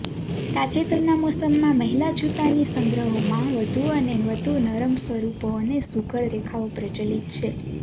તાજેતરના મોસમમાં મહિલા જૂતાની સંગ્રહોમાં વધુ અને વધુ નરમ સ્વરૂપો અને સુઘડ રેખાઓ પ્રચલિત છે